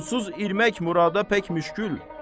Onsuz irmək murada pek müşkül.